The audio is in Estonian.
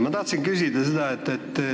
Ma tahtsin küsida seda.